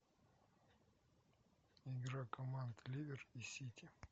игра команд ливер и сити